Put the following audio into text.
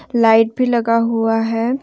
Light भी लगा हुआ है।